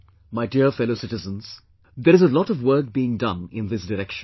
My dear fellow citizens, there is a lot of work being done in this direction